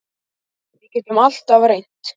Við getum alltaf reynt.